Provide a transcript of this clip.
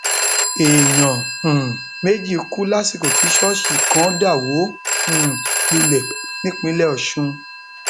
èèyàn um méjì kú lásìkò tí ṣọọṣì kan dà wó um lulẹ nípínlẹ ọsùn